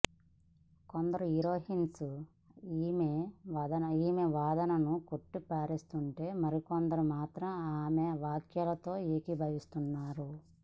కొందరు హీరోయిన్స్ ఈమె వాదనను కొట్టి పారేస్తుంటే మరికొందరు మాత్రం ఈమె వ్యాఖ్యలతో ఏకీభవిస్తున్నారు